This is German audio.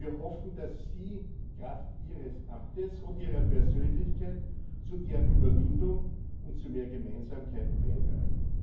Wir hoffen, dass Sie kraft Ihres Amtes und Ihrer Persönlichkeit zu deren Überwindung und zu mehr Gemeinsamkeit beitragen.